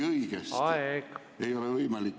Aeg!